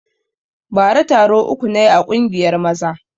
Bara taro uku na yi a ƙungiyar maza